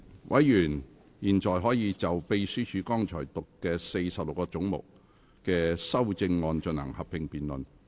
委員現在可以就秘書剛讀出46個總目的修正案進行合併辯論。